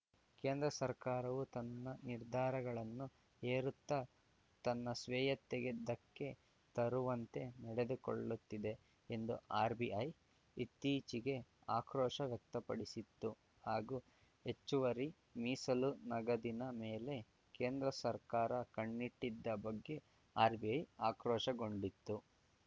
ಕೇಂದ್ರ ಸರ್ಕಾರವು ತನ್ನ ನಿರ್ಧಾರಗಳನ್ನು ಹೇರುತ್ತ ತನ್ನ ಸ್ವೇಯತ್ತೆಗೆ ಧಕ್ಕೆ ತರುವಂತೆ ನಡೆದುಕೊಳ್ಳುತ್ತಿದೆ ಎಂದು ಆರ್‌ಬಿಐ ಇತ್ತೀಚೆಗೆ ಆಕ್ರೋಶ ವ್ಯಕ್ತಪಡಿಸಿತ್ತು ಹಾಗೂ ಹೆಚ್ಚುವರಿ ಮೀಸಲು ನಗದಿನ ಮೇಲೆ ಕೇಂದ್ರ ಸರ್ಕಾರ ಕಣ್ಣಿಟ್ಟಿದ್ದ ಬಗ್ಗೆ ಆರ್‌ಬಿಐ ಆಕ್ರೋಶಗೊಂಡಿತ್ತು